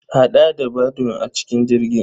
Haɗa da Badun a cikin jerin.